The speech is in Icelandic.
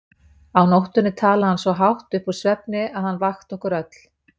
Á nóttunni talaði hann svo hátt upp úr svefni að hann vakti okkur öll.